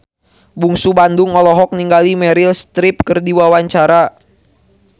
Bungsu Bandung olohok ningali Meryl Streep keur diwawancara